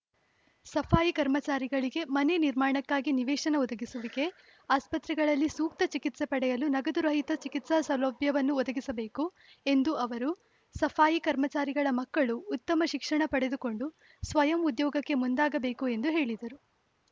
ಸಫಾಯಿ ಕರ್ಮಚಾರಿಗಳಿಗೆ ಮನೆ ನಿರ್ಮಾಣಕ್ಕಾಗಿ ನಿವೇಶನ ಒದಗಿಸುವಿಕೆ ಆಸ್ಪತ್ರೆಗಳಲ್ಲಿ ಸೂಕ್ತ ಚಿಕಿತ್ಸೆ ಪಡೆಯಲು ನಗದು ರಹಿತ ಚಿಕಿತ್ಸಾ ಸೌಲಭ್ಯವನ್ನು ಒದಗಿಸಬೇಕು ಎಂದು ಅವರು ಸಫಾಯಿ ಕರ್ಮಚಾರಿಗಳ ಮಕ್ಕಳು ಉತ್ತಮ ಶಿಕ್ಷಣ ಪಡೆದುಕೊಂಡು ಸ್ವಯಂ ಉದ್ಯೋಗಕ್ಕೆ ಮುಂದಾಗಬೇಕು ಎಂದು ಹೇಳಿದರು